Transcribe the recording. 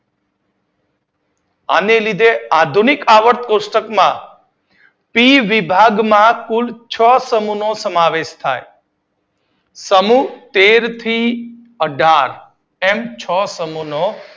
આને લીધે આધુબનીક આવર્તક કોષ્ટક માં પી વિભાગમાં કુલ છ સમૂહનો સમાવેશ થાય છે સમૂહ તેર થી અઢાર એમ છ સમૂહનો સમાવેશ